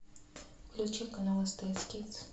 включи канал стс кидс